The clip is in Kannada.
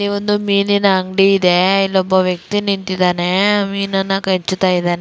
ಒಂದು ಮೀನಿನ ಅಂಗಡಿ ಇದೆ ಇಲ್ಲಿ ಒಬ್ಬ ವ್ಯಕ್ತಿ ನಿಂತಿದ್ದಾನೆ ಮಿನನ್ನ --